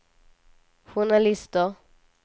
journalister